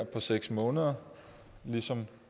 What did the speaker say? på seks måneder ligesom